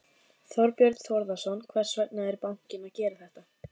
Þorbjörn Þórðarson: Hvers vegna er bankinn að gera þetta?